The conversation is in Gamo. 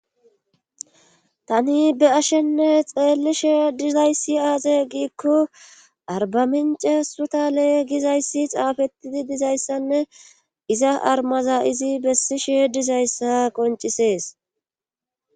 tani be ashenne xeellishe dilayssi aaze giikko arbamince sutale gizayssi xaafetidi dizayssanne iza armaza izi bessishe dizayssa qoncisees